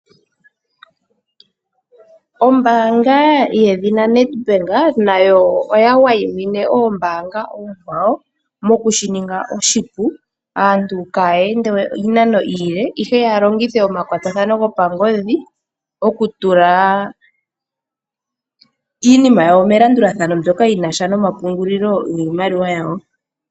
Ombaanga yedhina Nedbank nayo oya wayimine Ombaanga oonkwawo, mo ku shininga oshipu, aantu kaaya ende we iinano iile, ihe ya longithe omakwatathano go pangodhi, oku tula iinima yawo melandulathano mbyoka yi nasha noma pungulilo giimaliwa yawo.